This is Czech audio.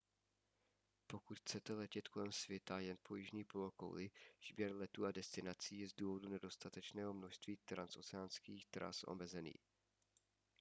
pokud chcete letět kolem světa jen po jižní polokouli výběr letů a destinací je z důvodu nedostatečného množství transoceánských tras omezený